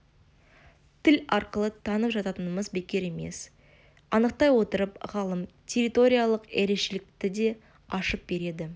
тіл арқылы танып жататынымыз бекер емес анықтай отырып ғалым территориялық ерекшелікті де ашып береді